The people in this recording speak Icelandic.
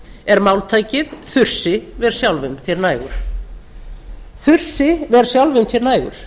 er máltækið þursi ver sjálfum þér nægur þursi ver sjálfum þér nægur